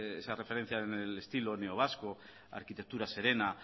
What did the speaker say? esa referencia del estilo neovasco arquitectura serena